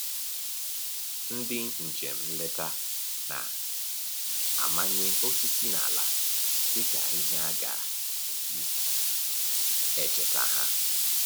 Ndị njem nleta na-amanye osisi n'ala dịka ihe a ga-eji echeta ha